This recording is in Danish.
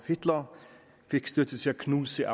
hitler fik støtte til at knuse